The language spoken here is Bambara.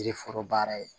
Yiri foro baara ye